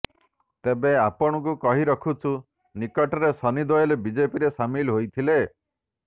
ତେବେ ଆପଣଙ୍କୁ କହିରଖୁଛୁ ନିକଟରେ ସନି ଦେଓଲ୍ ବିଜେପିରେ ସାମିଲ୍ ହୋଇଥିଲେ